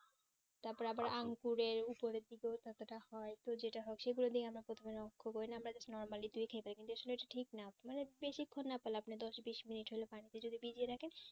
তার পরে আবার আঙ্গুরের উপরের দিকে কত তা হয় খুব যেটা হয় সেই ভাবে আমরা প্রথমে but normally খেতে যাস সেটা ঠিক না বেশিক্ষন না পারেলও দশ বিশ মিনিট হলে পানিতে যদি ভিজিয়ে রাখেন